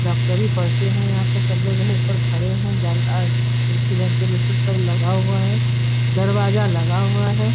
डॉक्टरी पढ़ते है यहाँ पर सब लोग जैसे ऊपर खड़े है जन अ खिड़की वेंटीलेटर सब लगा हुआ है दरवाजा लगा हुआ है।